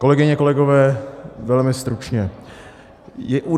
Kolegyně, kolegové, velmi stručně.